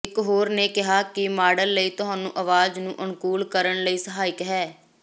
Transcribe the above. ਇਕ ਹੋਰ ਨੇ ਕਿਹਾ ਕਿ ਮਾਡਲ ਲਈ ਤੁਹਾਨੂੰ ਆਵਾਜ਼ ਨੂੰ ਅਨੁਕੂਲ ਕਰਨ ਲਈ ਸਹਾਇਕ ਹੈ